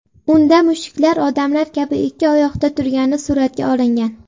Unda mushuklar odamlar kabi ikki oyoqda turgani suratga olingan.